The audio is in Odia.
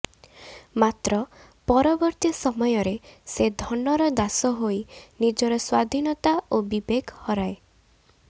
ମାତ୍ର ପରବର୍ତ୍ତୀ ସମୟରେ ସେ ଧନର ଦାସ ହୋଇ ନିଜର ସ୍ୱାଧୀନତା ଓ ବିବେକ ହରାଏ